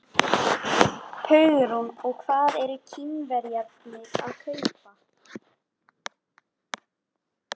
Hugrún: Og hvað eru Kínverjarnir að kaupa?